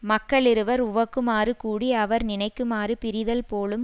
மக்களிருவர் உவக்குமாறு கூடி அவர் நினைக்குமாறு பிரிதல் போலும்